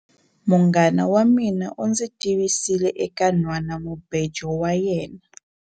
Munghana wa mina u ndzi tivisile eka nhwanamubejo wa yena.